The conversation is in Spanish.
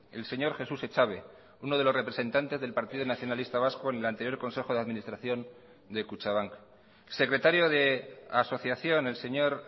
el señor jesús echave uno de los representantes del partido nacionalista vasco en el anterior consejo de administración de kutxabank secretario de asociación el señor